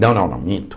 Não, não, não, minto.